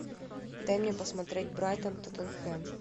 дай мне посмотреть брайтон тоттенхэм